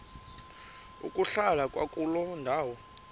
ukuhlala kwakuloo ndawo